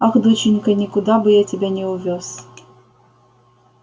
ах доченька никуда бы я тебя не увёз